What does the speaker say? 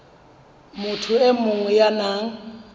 motho e mong ya nang